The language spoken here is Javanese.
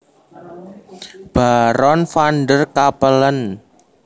Baron van der Capellen